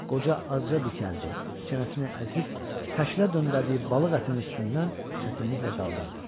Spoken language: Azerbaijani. Qoca azca dikəldi, çənəsini əzib xəşlə döndərdiyi balıq ətinin üstündən çətinliklə qaldırdı.